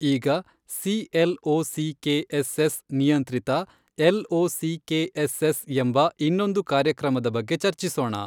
ಈಗ C L O C K S S ನಿಯಂತ್ರಿತ L O C K S S ಎಂಬ ಇನ್ನೊಂದು ಕಾರ್ಯಕ್ರಮದ ಬಗ್ಗೆ ಚರ್ಚಿಸೋಣ.